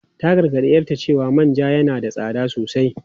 Ta gargadi 'yarta cewa manja yana da tsada sosai.